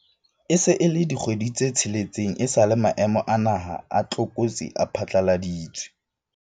E se e le dikgwedi tse tsheletseng esale maemo a naha a tlokotsi a phatlaladitswe.